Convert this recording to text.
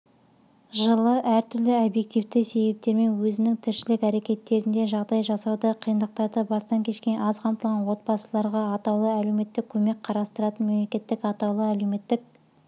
жылы әртүрлі объективті себептермен өзінің тіршілік әрекеттерінде жағдай жасауда қиындықтарды бастан кешкен аз қамтылған отбасыларғаатаулы әлеуметтік көмек қарастыратын мемлекеттік атаулы әлеуметтік